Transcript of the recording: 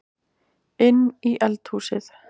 Inn í eldhúsið.